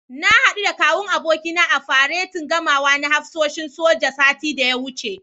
Na haɗu da Kawun abokina a faretin gamawa na hafsoshin soja, satin da ya wuce.